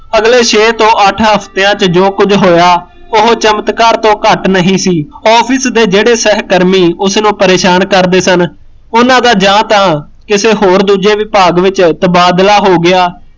ਹਲੇ ਛੇ ਤੋਂ ਅੱਠ ਹਫ਼ਤਿਆ ਚ ਜੋ ਕੁਸ਼ ਹੋਇਆ ਉਹ ਚਮਤਕਾਰ ਤੋਂ ਘੱਟ ਨਹੀਂ ਸੀ office ਦੇ ਜਿਹੜੇ ਸਹਿਕਰਮੀ ਉਸਨੂੰ ਪਰੇਸ਼ਾਨ ਕਰਦੇ ਸਨ, ਉਹਨਾਂ ਦਾ ਜਾਂ ਤਾਂ ਕਿਸੇ ਹੋਰ ਦੂਜੇ ਵਿਭਾਗ ਚ ਤਬਾਦਲਾ ਹੋ ਗਿਆ